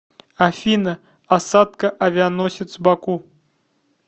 афина осадка авианосец баку